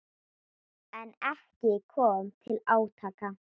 En ekki kom til átaka.